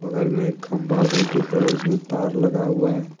बगल में एक खम्बा भी दिख रहा हैं जिसमे तार लगा हुआ हैं।